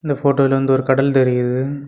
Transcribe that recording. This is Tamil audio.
இந்த போட்டோல வந்து ஒரு கடல் தெரியுது.